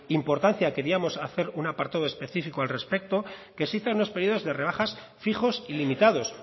importancia queríamos hacer un apartado específico al respecto que fijos en los periodos de rebajas fijos y limitados